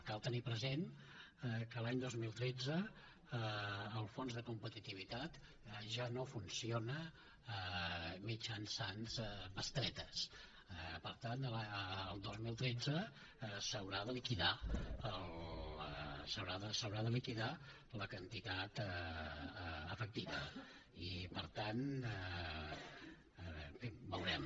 cal tenir present que l’any dos mil tretze el fons de competitivitat ja no funciona mitjançant bestretes per tant el dos mil tretze s’haurà de liquidar s’haurà de liquidar la quantitat efectiva i per tant en fi veurem